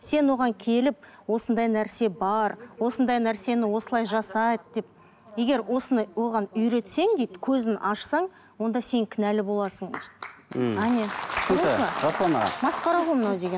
сен оған келіп осындай нәрсе бар осындай нәрсені осылай жасайды деп егер осыны оған үйретсең дейді көзін ашсаң онда сен кінәлі боласың дейді ммм әне масқара ғой мынау деген